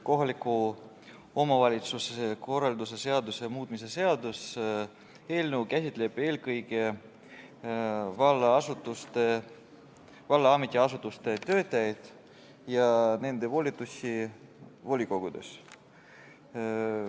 Kohaliku omavalitsuse korralduse seaduse muutmise seaduse eelnõu käsitleb eelkõige valla ametiasutuste töötajaid ja nende volitusi volikogudes.